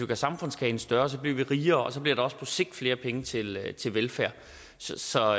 gør samfundskagen større bliver vi rigere og så bliver der også på sigt flere penge til til velfærd så